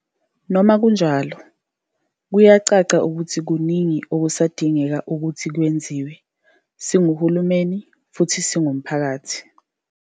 Noma kunjalo, kuyacaca ukuthi kuningi okusadingeka ukuthi kwenziwe, singuhulumeni futhi singumphakathi.